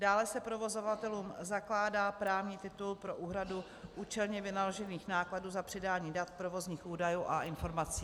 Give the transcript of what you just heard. Dále se provozovatelům zakládá právní titul pro úhradu účelně vynaložených nákladů za předání dat, provozních údajů a informací.